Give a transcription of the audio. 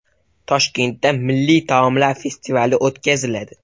Toshkentda milliy taomlar festivali o‘tkaziladi.